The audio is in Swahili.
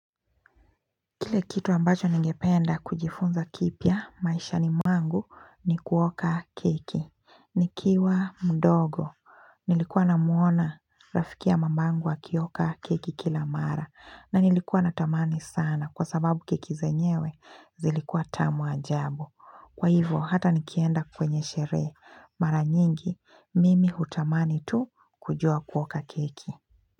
Kile kitu ambacho ningependa kujifunza kipya maishani mwangu ni kuoka keki. Nikiwa mdogo, nilikuwa namuona rafiki ya mamangu akioka keki kila mara. Na nilikuwa natamani sana kwa sababu keki zenyewe zilikuwa tamu ajabu. Kwa hivyo hata nikienda kwenye sherehe, mara nyingi mimi hutamani tu kujua kuoka keki.